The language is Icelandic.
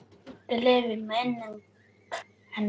Lengi lifi minning hennar!